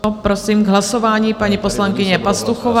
Prosím, k hlasování paní poslankyně Pastuchová.